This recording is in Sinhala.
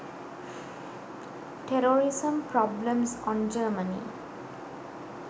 terrorism problems on germany